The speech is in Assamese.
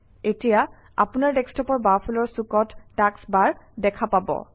এতিয়া আপোনাৰ ডেস্কটপৰ বাওঁফালৰ চুকত টাস্কবাৰ দেখা পাব